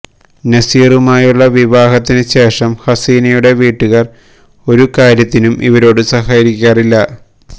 നസീറുമായുള്ള വിവാഹത്തിന് ശേഷം ഹസീനയുടെ വീട്ടുകാർ ഒരു കാര്യത്തിനും ഇവരോടു സഹകരിക്കാറില്ല